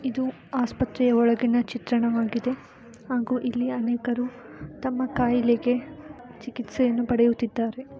ಇದು ಆಸ್ಪತ್ರೆಯೊಳಗಿನ ಚಿತ್ರಣವಾಗಿದೆ ಹಾಗೂ ಇಲ್ಲಿ ಅನೇಕರು ತಮ್ಮ ಖಾಯಿಲೆಗೆ ಚಿಕಿತ್ಸೆಯನ್ನು ಪಡೆಯುತ್ತಿದ್ದಾರೆ.